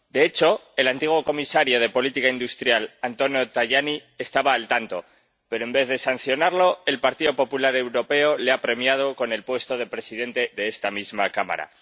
De hecho, el antiguo comisario de política industrial, Antonio Tajani, estaba al tanto, pero, en vez de sancionarlo, el Partido Popular Europeo le ha premiado con el puesto de presidente de esta misma Cámara.